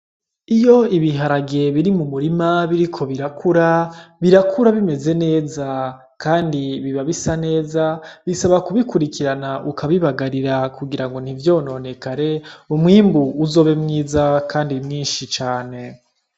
Iyo ibiharage biri mu murima biriko birakura, birakura bimeze neza, kandi biba bisa neza. Bisaba kubikurikirana ukabibagarira kugira ngo ntivyononekare, umwimbu uzobe mwiza kandi mwinshi cane.